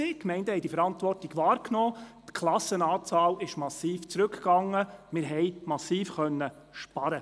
Die Gemeinden haben diese Verantwortung wahrgenommen, die Anzahl der Klassen ging massiv zurück, und wir konnten massive Einsparungen vornehmen.